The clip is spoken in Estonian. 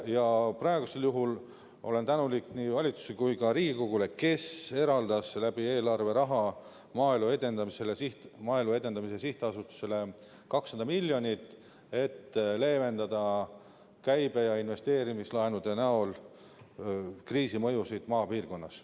Ja praegusel juhul olen tänulik nii valitsusele kui ka Riigikogule, kes eraldas eelarve kaudu Maaelu Edendamise Sihtasutusele raha, 200 miljonit, et leevendada käibe- ja investeerimislaenude näol kriisimõjusid maapiirkonnas.